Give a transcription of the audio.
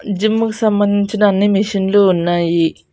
జిమ్ముకు సంబంధించిన అన్ని మిషన్లు ఉన్నాయి.